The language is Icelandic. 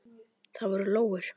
Það voru lóur.